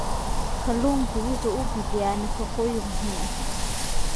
Kalluunku waxa uu bixiyaa nafaqooyin muhiim ah.